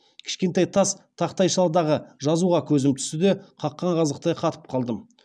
кішкентай тас тақтайшадағы жазуға көзім түсті де қаққан қазықтай қатып қалдым